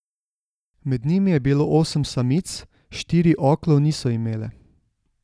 Med njimi je bilo osem samic, štiri oklov niso imele.